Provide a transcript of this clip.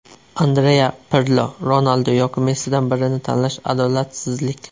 Andrea Pirlo: Ronaldu yoki Messidan birini tanlash adolatsizlik.